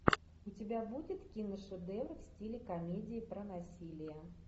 у тебя будет киношедевр в стиле комедии про насилие